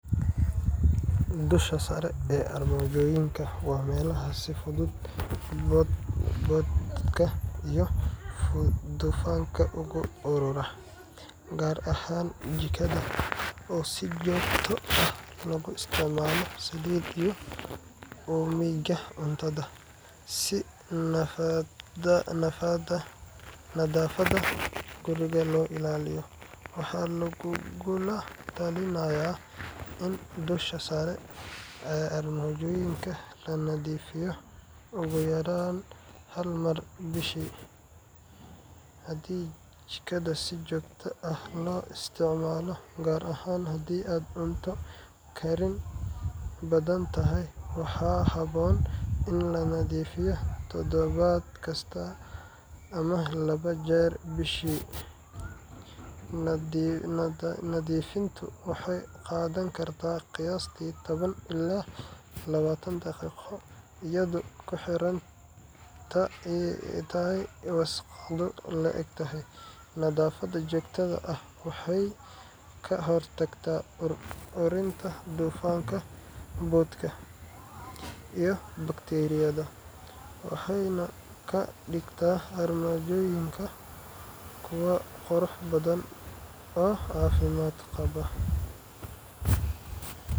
Dusha sare ee armaajooyinka waa meelaha si fudud boodhka iyo dufanka ugu urura, gaar ahaan jikada oo si joogto ah looga isticmaalo saliid iyo uumiga cuntada. Si nadaafadda guriga loo ilaaliyo, waxaa lagugula talinayaa in dusha sare ee armaajooyinka la nadiifiyo ugu yaraan hal mar bishii. Haddii jikada si joogto ah loo isticmaalo, gaar ahaan haddii aad cunto karin badan tahay, waxaa habboon in la nadiifiyo todobaad kasta ama laba jeer bishii. Nadiifintu waxay qaadan kartaa qiyaastiI toban ilaa labatan daqiiqo, iyadoo ku xiran inta ay wasakhdu le’eg tahay. Nadaafad joogto ah waxay ka hortagtaa ur urinta dufanka, boodhka, iyo bakteeriyada, waxayna ka dhigtaa armaajooyinka kuwo qurux badan oo caafimaad qaba.